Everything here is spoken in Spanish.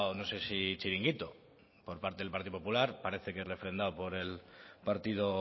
no sé si chiringuito por parte del partido popular y parece que es refrendado por el partido